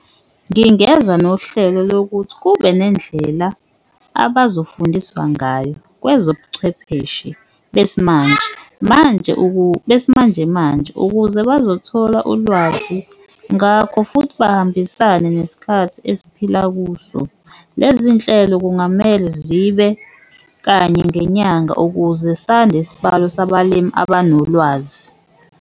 Ngingeza nohlelo lokuthi kube nendlela abazofundiswa ngayo kwezobuchwepheshe besimanje, manje besimanjemanje ukuze bazothola ulwazi ngakho, futhi bahambisane nesikhathi esiphila kuso. Lezi nhlelo kungamele zibe kanye ngenyanga ukuze sande isibalo sabalimi abanolwazi.